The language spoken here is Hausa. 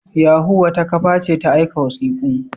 Yahoo wata kafa ce ta aika wasiku.